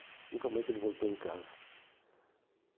Nunca mais ele voltou em casa.